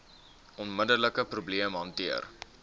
onmiddelike probleem hanteer